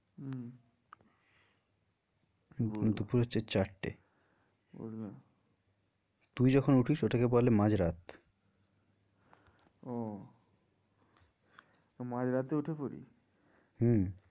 দুপুর হচ্ছে চারটে বুঝলাম তুই যখন উঠিস ওটাকে বলে মাঝ রাত ওহ মাঝ রাতে উঠে পরি হম